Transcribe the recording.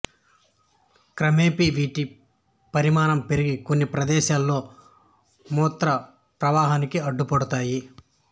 క్రమేపీ వీటి పరిమాణం పెరిగి కొన్ని ప్రదేశాలలో మూత్ర ప్రవాహానికి అడ్డుపడతాయి